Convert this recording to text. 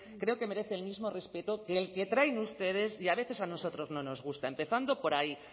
creo que merece el mismo respeto que el que traen ustedes y a veces a nosotros no nos gusta empezando por ahí